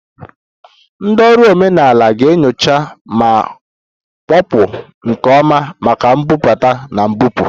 Ndị ọrụ omenala ga-enyocha ma kpochapụ nke ọma maka mbubata na mbupụ